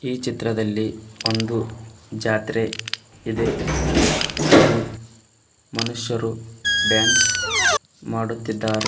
ಈ ಚಿತ್ರದಲ್ಲಿ ಒಂದು ಜಾತ್ರೆ ಇದೆ ಹಾಗೂ ಮನುಷ್ಯರು ಡಾನ್ಸ್ ಮಾಡುತ್ತಿದ್ದಾರೆ.